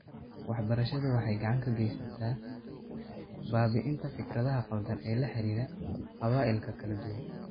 Waxbarashadu waxay gacan ka geysataa baabi'inta fikradaha qaldan ee la xiriira qabaa'ilka kala duwan.